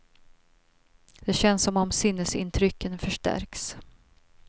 Det känns som om sinnesintrycken förstärks.